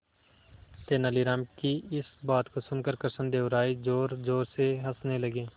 तेनालीराम की इस बात को सुनकर कृष्णदेव राय जोरजोर से हंसने लगे